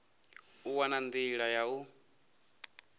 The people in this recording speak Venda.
u wana nḓila ya u